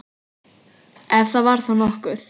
Ef það var þá nokkuð.